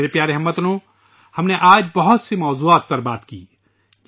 میرے پیارے ہم وطنو ، آج ہم نے کئی موضوعات پر بات چیت کی